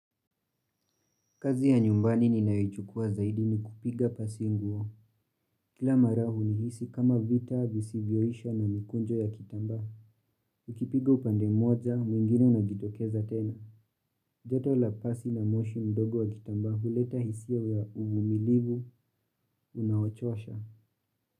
Kazi ya nyumbani ninayoichukua zaidi ni kupiga pasi nguo. Kila mara hunihisi kama vita, visivyoisha na mikunjo ya kitambaa. Ukipiga upande moja, mwingine unajitokeza tena. Joto la pasi na moshi mdogo wa kitambaa, huleta hisia ya uvumilivu, unaochosha.